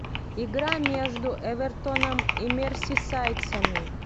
игра между эвертоном и мерсисайдцами